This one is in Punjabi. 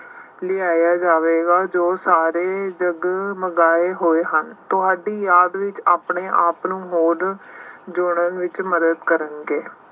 ਲਿਆਇਆ ਜਾਵੇਗਾ। ਜੋ ਸਾਰੇ ਜਗਮਗਾਏ ਹੋਏ ਹਨ। ਤੁਹਾਡੀ ਯਾਦ ਵਿੱਚ ਆਪਣੇ ਆਪ ਨੂੰ ਹੋਰ ਜੋੜਨ ਵਿੱਚ ਮਦਦ ਕਰਨਗੇ।